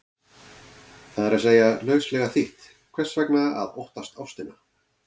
Það er að segja, lauslega þýtt, hvers vegna að óttast ástina?